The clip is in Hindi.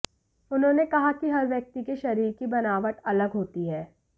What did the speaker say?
उन्होंने कहा कि हर व्यक्ति के शरीर की बनावट अलग होती है